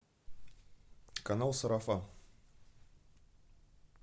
канал сарафан